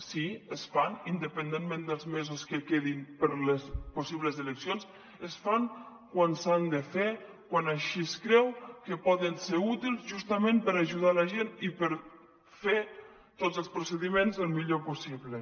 sí se’n fan independentment dels mesos que quedin per a les possibles eleccions se’n fan quan se n’han de fer quan així es creu que poden ser útils justament per ajudar la gent i per fer tots els procediments al millor possible